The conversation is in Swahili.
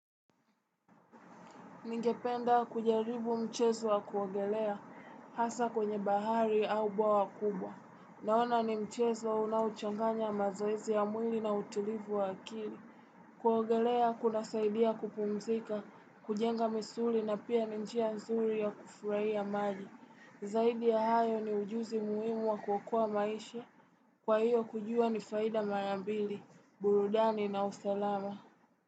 Ningependa kujaribu mchezo wa kuogelea hasa kwenye bahari au bwawa kubwa. Naona ni mchezo unaochanganya mazoezi ya mwili na utulivu wa akili. Kuogelea kuna saidia kupumzika, kujenga misuli na pia ninjia nzuri ya kufurai ya maji. Zaidi ya hayo ni ujuzi muhimu wa kuokoa maisha. Kwa hiyo kujua ni faida marambili. Burudani na usalama.